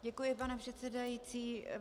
Děkuji, pane předsedající.